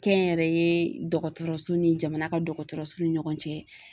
Kɛnyɛrɛye dɔgɔtɔrɔso ni jamana ka dɔgɔtɔrɔso ni ɲɔgɔn cɛ.